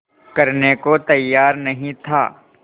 करने को तैयार नहीं था